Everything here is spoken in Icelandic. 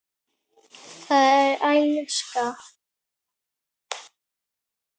Það er alsæla.